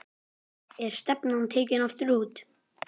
Er stefnan tekin aftur út?